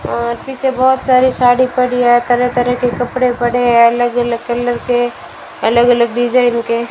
आ पीछे बहोत सारी साड़ी पड़ी है तरह तरह के कपड़े पड़े हैं अलग अलग कलर के अलग अलग डिजाइन के --